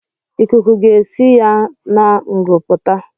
Ikuku ga-esi ya n'ngu apụta